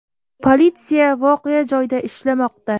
Politsiya voqea joyida ishlamoqda.